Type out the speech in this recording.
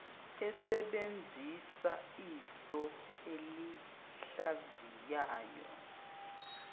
esebenzisa iso elihlaziyayo